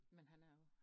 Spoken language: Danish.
Men han er jo